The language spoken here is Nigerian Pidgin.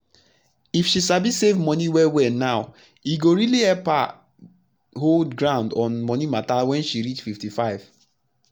if she sabi save moni well well now e go really help her hold ground on money matters when she reach 55